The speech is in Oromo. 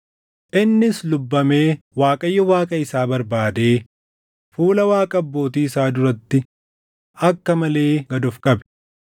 Innis lubbamee Waaqayyo Waaqa isaa barbaadee fuula Waaqa abbootii isaa duratti akka malee gad of qabe.